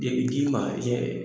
Deli t'i ni ma cɛ!